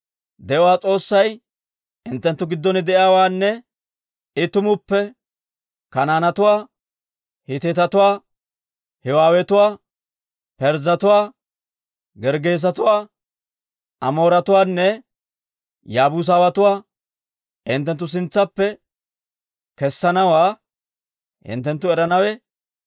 De'uwaa S'oossay hinttenttu giddon de'iyaawaanne I tumuppe Kanaanetuwaa, Hiitetuwaa, Hiiwetuwaa, Parzzetuwaa, Gerggeesetuwaa, Amooretuwaanne Yaabuusatuwaa hinttenttu sintsaappe kessanawaa hinttenttu eranawe,